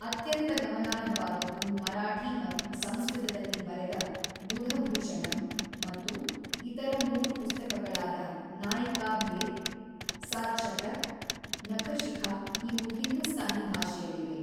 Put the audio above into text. ಅತ್ಯಂತ ಗಮನಾರ್ಹವಾದದ್ದು ಮರಾಠಿ ಮತ್ತು ಸಂಸ್ಕೃತದಲ್ಲಿ ಬರೆದ ಬುಧಭೂಷಣಮ್, ಮತ್ತು ಇತರ ಮೂರು ಪುಸ್ತಕಗಳಾದ ನಾಯಿಕಾಭೇದ್, ಸಾತ್ಶತಕ್, ನಖಶಿಖಾ ಇವು ಹಿಂದೂಸ್ತಾನಿ ಭಾಷೆಯಲ್ಲಿವೆ.